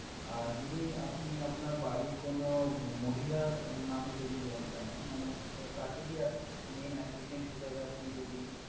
আর যদি আপনি আপনার বাড়ির কোনো মহিলার নামে যদি loan টা নেন, মানে তাকে দিয়ে main applicant হিসেবে আপনি যদি